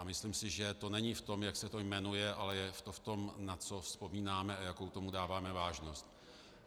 A myslím si, že to není v tom, jak se to jmenuje, ale je to v tom, na co vzpomínáme a jakou tomu dáváme vážnost.